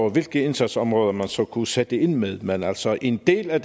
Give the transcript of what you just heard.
over hvilke indsatsområder man så kunne sætte ind med men altså en del af